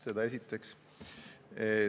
Seda esiteks.